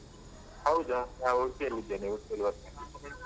ಹೌದಾ ನಾನ್ ಉಡ್ಪಿಯಲ್ಲಿದ್ದೇನೆ, ಉಡ್ಪಿಯಲ್ಲಿ work ನೀನು.